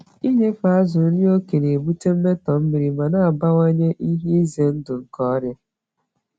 Inyefe azụ nri oke na-ebute mmetọ mmiri ma na-abawanye ihe ize ndụ nke ọrịa.